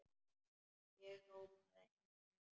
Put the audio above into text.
Ég hrópaði enn hærra.